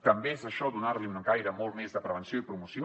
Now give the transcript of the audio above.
també és a això donar hi un caire molt més de prevenció i promoció